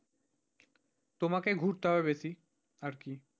তোমাকে ঘুরতে হবে বেশি আর কি।